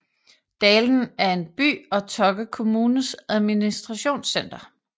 Dalen er en by og Tokke kommunes administrationscenter